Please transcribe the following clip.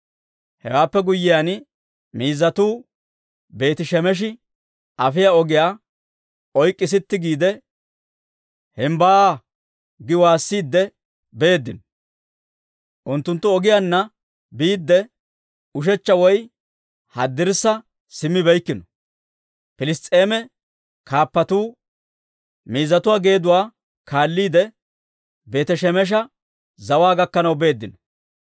Hewaappe guyyiyaan, miizzatuu Beeti-Shemeshi afiyaa ogiyaa oyk'k'i sitti giide, «Himbbaa!» gi waassiidde beeddino; unttunttu ogiyaanna biidde, ushechcha woy haddirssa simmibeykkino; Piliss's'eema kaappatuu miizzatuu geeduwaa kaalliide, Beeti-Shemesha zawaa gakkanaw beeddino.